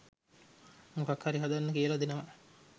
මොකක් හරි හදන්න කියලා දෙනවා